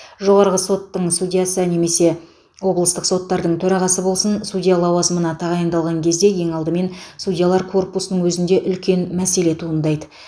жоғарғы соттың судьясы немесе облыстық соттардың төрағасы болсын судья лауазымына тағайындаған кезде ең алдымен судьялар корпусының өзінде үлкен мәселе туындайды